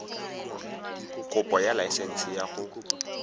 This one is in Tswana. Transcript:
kopo ya laesense ya go